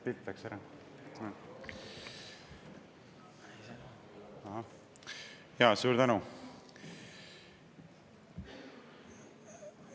Suur tänu!